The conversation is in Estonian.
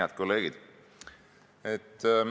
Head kolleegid!